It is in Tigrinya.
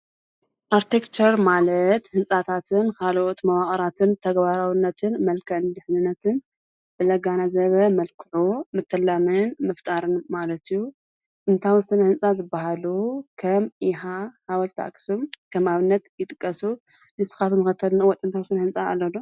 ኣርትከር ማለት ሕንጻታትን ኻልኦት መዋቕራትን ተገባራዉነትን መልከእን ድኅንነትን ብለጋናዘበ መልክዑ ምተላምን ምፍጣርን ማለትዩዩ እንታሙስን ሕንፃ ዝበሃሉ ኸም ኢኻ ሓበልታ ኣኽስም ከም ኣብነት ይጥቀሱ ንስኻት መኸተናወጥ እንታምስን ሕንፃ ኣለሎ